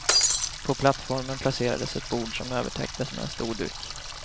På plattformen placerades ett bord, som övertäcktes med en stor duk.